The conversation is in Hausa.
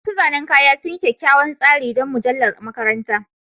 Masu zanen kaya sun yi kyakkyawan tsari don mujallar makaranta